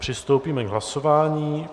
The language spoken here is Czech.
Přistoupíme k hlasování.